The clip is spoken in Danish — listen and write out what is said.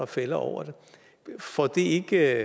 fælder over det får det ikke